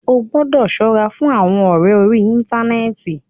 Ó gbọ́dọ̀ ṣọ́ra fún àwọn ọ̀rẹ orí íntanẹ́ẹ̀ti.